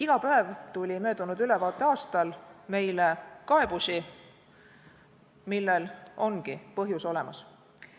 Iga päev tuli möödunud ülevaateaastal meile kaebusi, millel ongi põhjus olemas.